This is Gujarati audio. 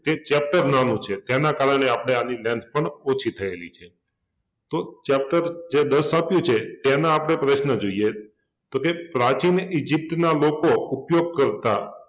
એક chapter નાનુ છે એના કારણે આપડે આની length પણ ઓછી થયેલી છે તો chapter જે દસ આપ્યુ છે એના આપણે પ્રશ્ન જોઈએ તો એક પ્રાચીન ઇજિપ્તના લોકો ઉપયોગ કર્તા